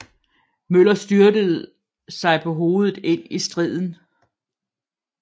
Møller styrtede sig på hovedet ind i striden